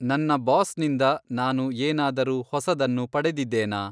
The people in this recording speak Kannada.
ನನ್ನ ಬಾಸ್‌ನಿಂದ ನಾನು ಏನಾದರೂ ಹೊಸದನ್ನು ಪಡೆದಿದ್ದೇನಾ ?